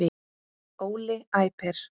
Óli æpir.